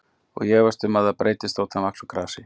Og ég efast um að það breytist þótt hann vaxi úr grasi.